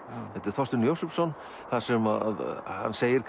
eftir Þorstein Jósefsson þar sem hann segir